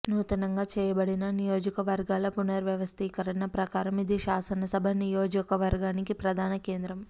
నూతనంగా చేయబడిన నియోజక వర్గాల పునర్వ్యవస్థీకరణ ప్రకారం ఇది శాసనసభ నియోజకవర్గానికి ప్రధాన కేంద్రం